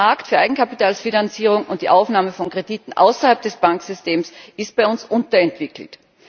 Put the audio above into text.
Der Markt für Eigenkapitalfinanzierung und die Aufnahme von Krediten außerhalb des Banksystems ist bei uns unterentwickelt.